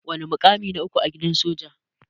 Wana mukamin na uku a gidan soja?